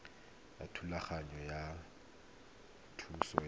ya thulaganyo ya thuso ya